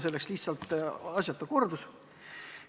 See oleks lihtsalt asjatu kordus.